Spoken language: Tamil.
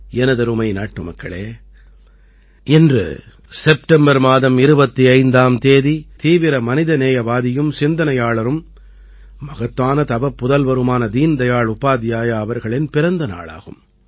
எனதருமை நாட்டுமக்களே இன்று செப்டம்பர் மாதம் 25ஆம் தேதி தீவிர மனிதநேயவாதியும் சிந்தனையாளரும் மகத்தான தவப்புதல்வருமான தீன்தயாள் உபாத்யாயா அவர்களின் பிறந்த நாளாகும்